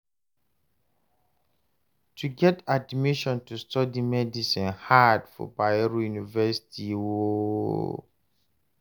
to get admission to study medicine hard for Bayero University o